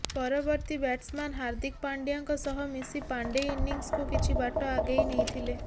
ପରବର୍ତ୍ତୀ ବ୍ୟାଟ୍ସମ୍ୟାନ୍ ହାର୍ଦ୍ଦିକ ପାଣ୍ଡ୍ୟାଙ୍କ ସହ ମିଶି ପାଣ୍ଡେ ଇନିଂସ୍କୁ କିଛି ବାଟ ଆଗେଇ ନେଇଥିଲେ